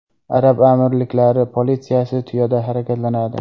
Arab amirliklari politsiyasi tuyada harakatlanadi .